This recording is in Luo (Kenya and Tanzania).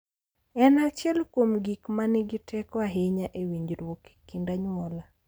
En achiel kuom gik ma nigi teko ahinya e winjruok e kind anyuola.